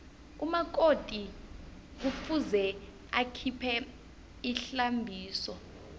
umakoti kufuze akhiphe ihlambiso